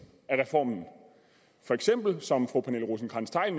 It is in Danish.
af reformen når som fru pernille rosenkrantz theil